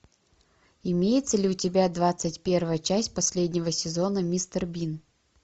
имеется ли у тебя двадцать первая часть последнего сезона мистер бин